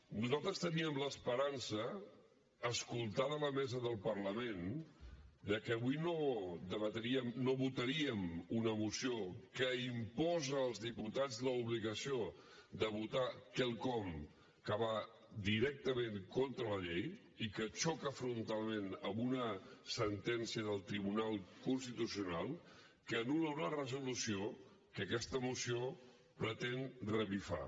nosaltres teníem l’esperança escoltada la mesa del parlament que avui no votaríem una moció que imposa als diputats l’obligació de votar quelcom que va directament contra la llei i que xoca frontalment amb una sentència del tribunal constitucional que anul·la una resolució que aquesta moció pretén revifar